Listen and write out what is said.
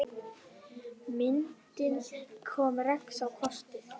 Myndin kom Rex á kortið.